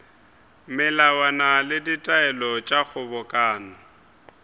melawana le ditaelo tša kgobokano